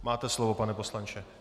Máte slovo, pane poslanče.